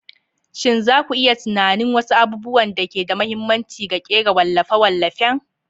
Shin za ku iya tunanin wasu abubuwan da ke da mahimmanci ga kera wallafe-wallafen?